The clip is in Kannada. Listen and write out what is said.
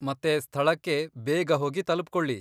ಮತ್ತೆ ಸ್ಥಳಕ್ಕೆ ಬೇಗ ಹೋಗಿ ತಲುಪ್ಕೊಳಿ.